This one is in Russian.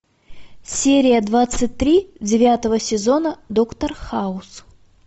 серия двадцать три девятого сезона доктор хаус